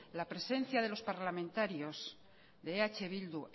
la presencia de los parlamentarios de eh bildu